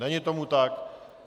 Není tomu tak.